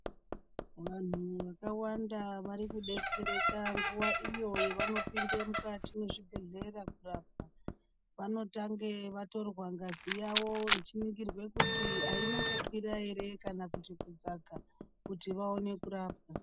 Vanhu vakawanda vari kudetsereka nguwa iyo yevanopinde mukati mwezvibhedhlera kurapwa, vanotange vatorwa ngazi yawo ichiningirwa kuti haina kukwira ere kana kudzaka kuti vaone kurapwa.